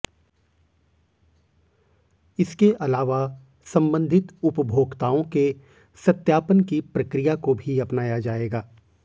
इसके अलावा संबंधित उपभोक्ताओं के सत्यापन की प्रक्रिया को भी अपनाया जाएगा